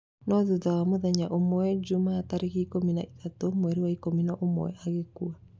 No thutha wa mũthenya ũmwe, Jumaa ya tarĩki ikũmi na ithatũ mweri wa ikũmi na ũmwe, agĩkua.